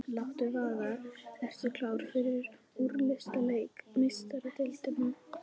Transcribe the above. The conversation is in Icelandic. Láttu vaða- Ertu klár fyrir úrslitaleik Meistaradeildarinnar?